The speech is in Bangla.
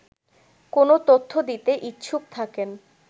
কোন তথ্য দিতে ইচ্ছুক থাকেন